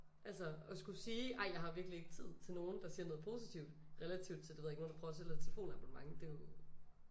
Altså og skulle sige ej jeg har virkelig ikke tid til nogen der siger noget positivt relativt til det ved jeg ikke nogen der prøver at sælge dig et telefon abonnement det jo